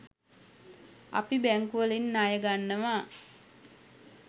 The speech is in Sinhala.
අපි බැංකුවලින් ණය ගන්නවා